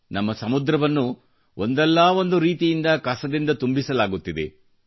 ನಮ್ಮ ಸಮುದ್ರವನ್ನು ಒಂದಲ್ಲ ಒಂದು ರೀತಿಯಿಂದ ಕಸದಿಂದ ತುಂಬಿಸಲಾಗುತ್ತಿದೆ